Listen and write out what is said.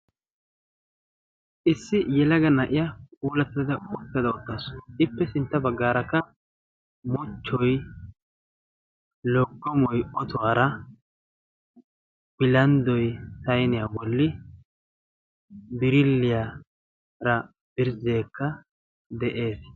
Issi yelaga naa'iya uulattada oottada oottaasu ippe sintta baggaarakka mochchoy lokkomoi otuwaara bilanddoy sayniyaa bolli biriliyaara birzzeekka de'ees.